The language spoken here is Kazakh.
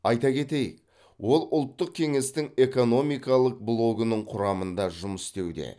айта кетейік ол ұлттық кеңестің экономикалық блогының құрамында жұмыс істеуде